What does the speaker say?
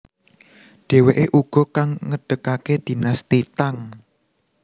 Dheweke uga kang ngedegake dinasti Tang